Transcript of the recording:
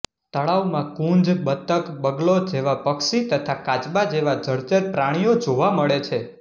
તળાવમાં કુંજ બતક બગલો જેવા પક્ષી તથા કાચબા જેવા જળચર પ્રાણીઓ જોવા મળે છે